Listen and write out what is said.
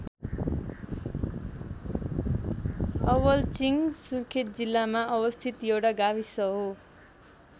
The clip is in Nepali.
अवलचिङ्ग सुर्खेत जिल्लामा अवस्थित एउटा गाविस हो।